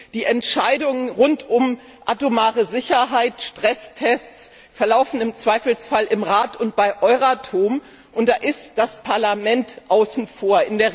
Die Entscheidungen rund um atomare Sicherheit und Stresstests werden im Zweifelsfall im Rat und bei Euratom getroffen, und da ist das Parlament außen vor.